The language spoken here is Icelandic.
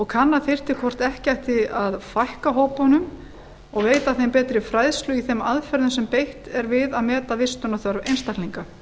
kanna þyrfti hvort ekki hætti að fækka hópunum og veita þeim betri fræðslu í þeim aðferðum sem beitt er við að meta vistunarþörf einstaklinga